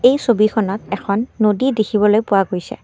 এই ছবিখনত এখন নদী দেখিবলৈ পোৱা গৈছে।